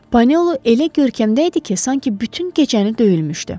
Panello elə görkəmdə idi ki, sanki bütün gecəni döyülmüşdü.